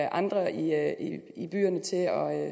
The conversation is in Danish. andre i